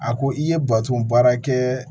A ko i ye baton baara kɛ